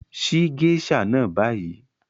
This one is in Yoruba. Ṣíì geisha náà ní bàyì!